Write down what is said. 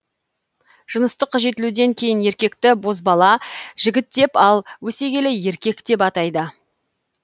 жыныстық жетілуден кейін еркекті бозбала жігіт деп ал өсе келе еркек деп атайды